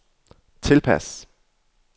tilpas